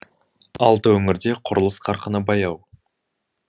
алты өңірде құрылыс қарқыны баяу